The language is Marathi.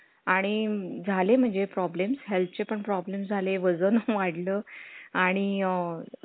आणि झाले म्हणजे problem , health चे पण problem झाले वजन वाढलं आणि